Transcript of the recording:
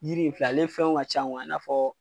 Yiri in filɛ ale fɛnw ka ca i na fɔ